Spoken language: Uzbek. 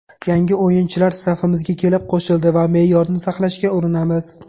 Yangi o‘yinchilar safimizga kelib qo‘shildi va me’yorni saqlashga urinamiz.